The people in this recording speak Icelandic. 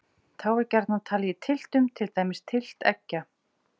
Þá er gjarnan talið í tylftum, til dæmis tylft eggja.